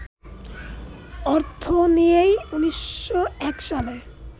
অর্থ নিয়েই ১৯০১ সালে